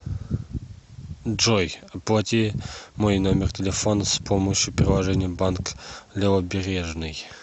джой оплати мой номер телефона с помощью приложения банк левобережный